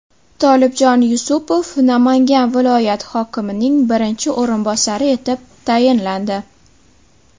Tolibjon Yusupov Namangan viloyat hokimining birinchi o‘rinbosari etib tayinlandi.